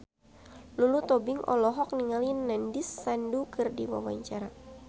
Lulu Tobing olohok ningali Nandish Sandhu keur diwawancara